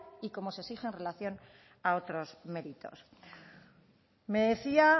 y como se exige en relación a otros méritos me decía